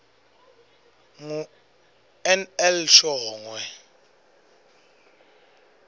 ngu nl shongwe